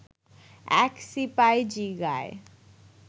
এক সিপাই জিগায়